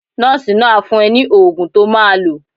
Nọ́ọ̀sì náà á fún ẹ ní oògùn to máa lò.